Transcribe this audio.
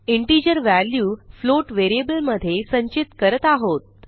integer value float व्हेरिएबलमधे संचित करत आहोत